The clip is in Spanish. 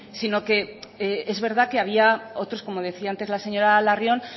sino que es verdad que había otros como decía antes la señora larrion